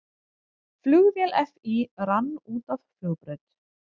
Flugvél FÍ rann út af flugbraut